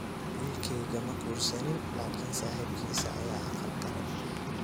Wilkeyga makursanin lkni saxibkisa aya aqal kale.